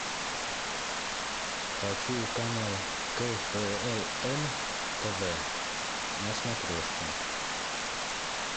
хочу канал кхл м тв на смотрешке